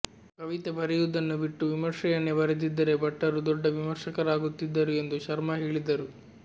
ಕವಿತೆ ಬರೆಯುವುದನ್ನು ಬಿಟ್ಟು ವಿಮರ್ಶೆಯನ್ನೇ ಬರೆದಿದ್ದರೆ ಭಟ್ಟರು ದೊಡ್ಡ ವಿಮರ್ಶಕರಾಗುತ್ತಿದ್ದರು ಎಂದು ಶರ್ಮ ಹೇಳಿದರು